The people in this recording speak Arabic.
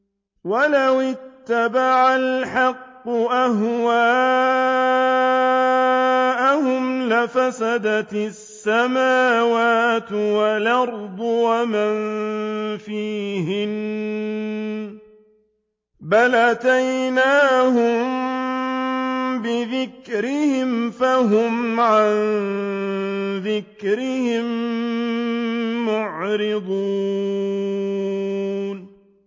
وَلَوِ اتَّبَعَ الْحَقُّ أَهْوَاءَهُمْ لَفَسَدَتِ السَّمَاوَاتُ وَالْأَرْضُ وَمَن فِيهِنَّ ۚ بَلْ أَتَيْنَاهُم بِذِكْرِهِمْ فَهُمْ عَن ذِكْرِهِم مُّعْرِضُونَ